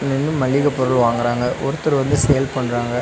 இங்க மளிக பொருள் வாங்குறாங்க ஒருத்தர் வந்து சேல் பண்றாங்க.